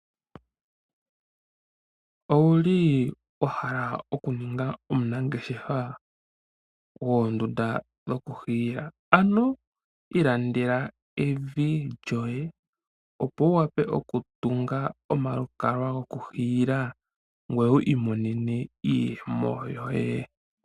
Owuli wa hala oku ninga omunangeshefa goondunda dhoku hiila? ano ilandela evi lyoye opo wu wape oku tunga omalukalwa gokuhiila ngoye wi imonene iiyemo yoye.